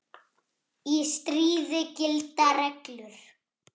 Í stríði gilda reglur.